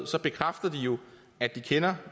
bekræfter de jo at de kender